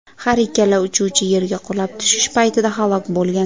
Har ikkala uchuvchi yerga qulab tushish paytida halok bo‘lgan.